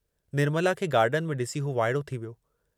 निर्मला खे गार्डन में ॾिसी हू वाइड़ो थी वियो।